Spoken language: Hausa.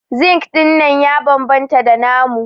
Zinc dinnan ya bambanta da namu.